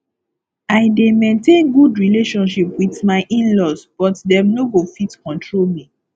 i dey maintain good relationship wit my inlaws but dem no go fit control me